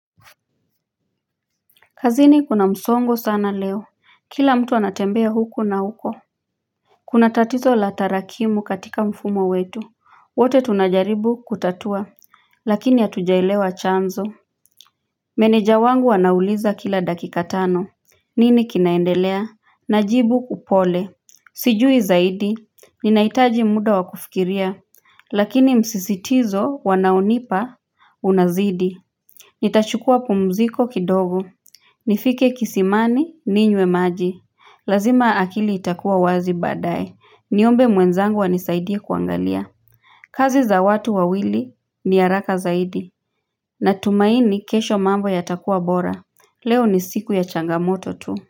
Kazini kuna msongo sana leo, kila mtu anatembea huko na huko Kuna tatizo la tarakimu katika mfumo wetu, wote tunajaribu kutatua, lakini hatujaelewa chanzo Meneja wangu anauliza kila dakika tano, nini kinaendelea, najibu upole Sijui zaidi, ninahitaji muda wakufikiria, lakini msisitizo wanaonipa unazidi Nitachukua pumziko kidogo nifike kisimani, ninywe maji. Lazima akili itakuwa wazi badaye. Niombe mwenzangu anisaidia kuangalia. Kazi za watu wawili ni haraka zaidi. Natumaini kesho mambo yatakuwa bora. Leo ni siku ya changamoto tu.